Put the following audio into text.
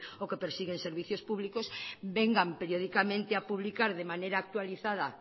o que persiguen servicios públicos vengan periódicamente a publicar de manera actualizada